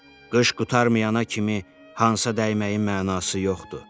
Qış qurtarmayana kimi hansa dəyməyin mənası yoxdur.